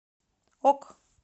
ок